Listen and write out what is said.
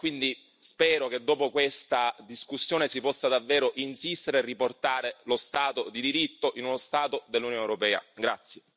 Ancora mi sembra che non ci sia troppa voglia e quindi spero che dopo questa discussione si possa davvero insistere e riportare lo Stato di diritto in uno Stato dell'Unione europea.